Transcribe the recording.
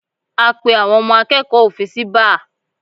A pé àwọn ọmọ akẹ́kọ̀ọ́ òfin sí báà